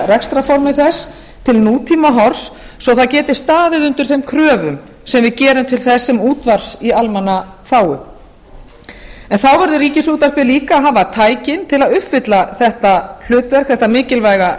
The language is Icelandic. rekstrarformi þess til nútíma horfs svo það geti staðið undir þeim kröfum sem við gerum til þess sem útvarps í almannaþágu en þá verður ríkisútvarpið líka að hafa tækin til að uppfylla þetta hlutverk þetta mikilvæga